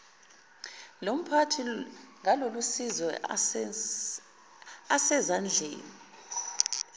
lomphathi ngalolusizo asezandleni